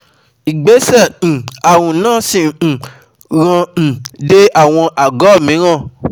Ìgbésẹ̀ um ààrùn náà sì ń um ràn um dé àwọn àgó ara mìíràn